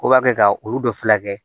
O b'a kɛ ka olu de fila kɛ